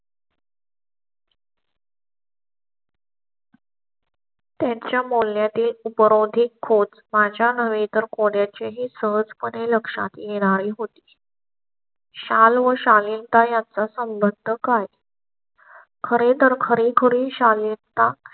त्यांच्या मूल्या ते उपरोधिक खोत माझ्या नव्हे तर कोणा चीही सहज पणे लक्षात येणारी होती. शाल शालीन ता याचा संबंध काय? खरे तर खरी खुरी शालीन ता